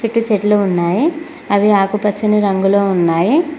చుట్టూ చెట్లు ఉన్నాయి అవి ఆకుపచ్చని రంగులో ఉన్నాయి.